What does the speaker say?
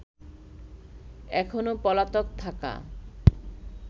এখনো পলাতক থাকা